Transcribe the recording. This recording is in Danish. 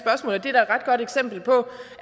godt eksempel på